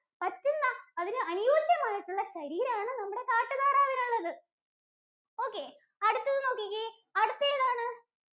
പറ്റുന്ന, അതിന് അനുയോജ്യമായിട്ടുള്ള ശരീരാണ് നമ്മുടെ കാട്ടുതാറാവിനുള്ളത്. Okay അടുത്തത് നോക്കിക്കേ, അടുത്തതേതാണ്?